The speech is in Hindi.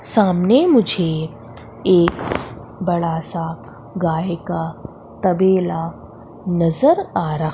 सामने मुझे एक बड़ा सा गाय का तबेला नजर आ रहा--